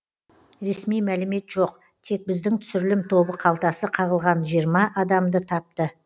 ресми мәлімет жоқ тек біздің түсірілім тобы қалтасы қағылған жиырма адамды тапты